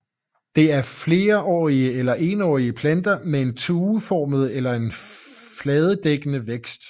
Det er flerårige eller enårige planter med en tueformet eller fladedækkende vækst